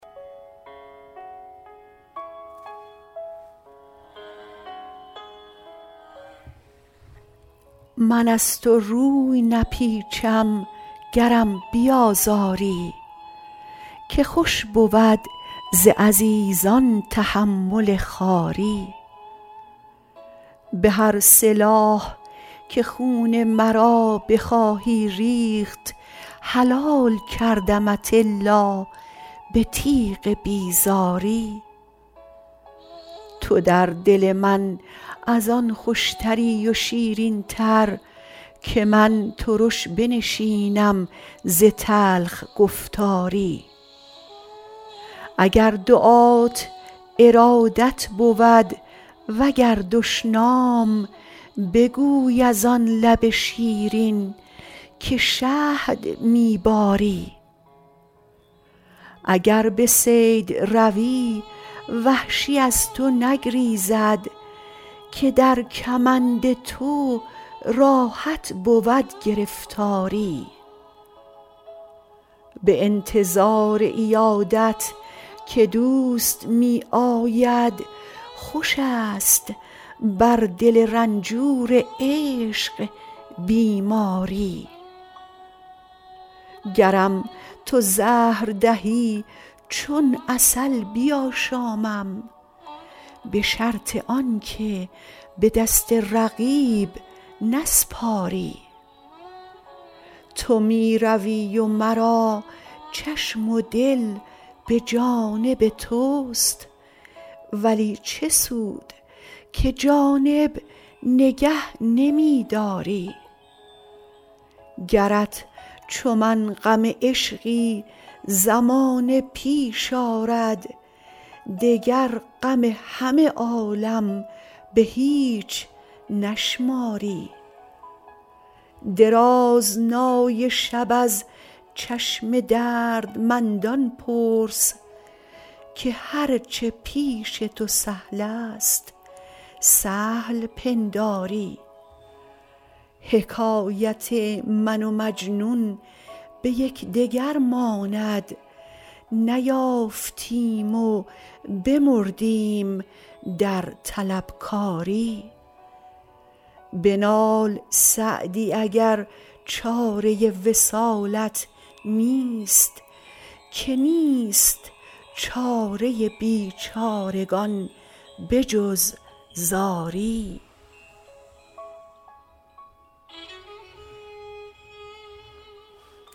من از تو روی نپیچم گرم بیازاری که خوش بود ز عزیزان تحمل خواری به هر سلاح که خون مرا بخواهی ریخت حلال کردمت الا به تیغ بیزاری تو در دل من از آن خوشتری و شیرین تر که من ترش بنشینم ز تلخ گفتاری اگر دعات ارادت بود و گر دشنام بگوی از آن لب شیرین که شهد می باری اگر به صید روی وحشی از تو نگریزد که در کمند تو راحت بود گرفتاری به انتظار عیادت که دوست می آید خوش است بر دل رنجور عشق بیماری گرم تو زهر دهی چون عسل بیاشامم به شرط آن که به دست رقیب نسپاری تو می روی و مرا چشم و دل به جانب توست ولی چه سود که جانب نگه نمی داری گرت چو من غم عشقی زمانه پیش آرد دگر غم همه عالم به هیچ نشماری درازنای شب از چشم دردمندان پرس که هر چه پیش تو سهل است سهل پنداری حکایت من و مجنون به یکدگر ماند نیافتیم و بمردیم در طلبکاری بنال سعدی اگر چاره وصالت نیست که نیست چاره بیچارگان به جز زاری